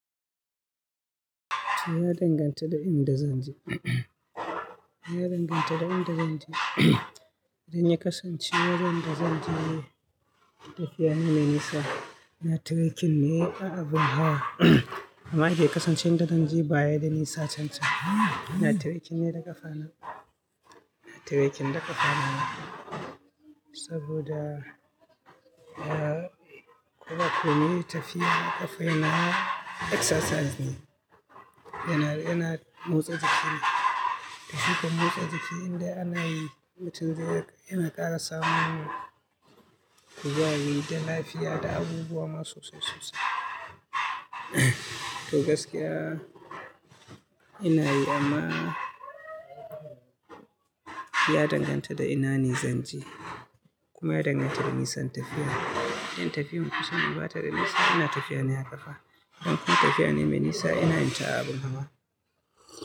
Ya danganta da inda zan je. Ya danganta da inda zan je. In ya kasance inda zan je tafiya ne me nisa, na treking ne ko abun hawa. Amma in ya kasance inda zan je baya da nisa cancan, ina treking ne da ƙafa na. Nature hiking da ƙafa na. Saboda nakan yi tafiya da ƙafa yana exercise ne, yana, yana motsa jiki. Tafiya kuma motsa jiki inda ana yi mutum yana ƙara samun kuzari da lafiya da abubuwa masu yawa sasai sosai. To gaskiya ina yi amma ya danganta da ina ne zan je kuma ya danganta da nisan tafiya. In tafiyan kusane ne bata da nisa ina tafiya ne a ƙafa, idan kuma tafiya ne me nisa ina yin ta a abun hawa.